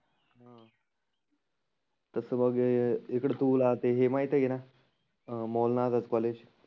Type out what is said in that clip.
तसं बघ हे इकड तुला ते हे माहिती आहेना? मोल नागत कॉलेज